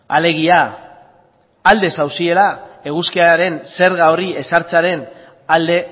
alegia alde zaudetela eguzkiaren zerga hori ezartzearen alde